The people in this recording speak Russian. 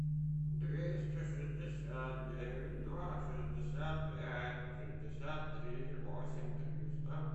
двести шестьдесят девять два шестьдесят пять шестьдесят три восемь триста